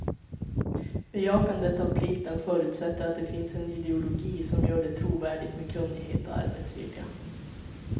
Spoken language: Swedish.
Bejakandet av plikten förutsätter att det finns en ideologi, som gör det trovärdigt med kunnighet och arbetsvilja.